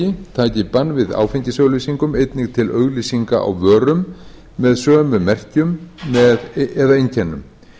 taki bann við áfengisauglýsingum einnig til auglýsinga á vörum með sömu merkjum eða einkennum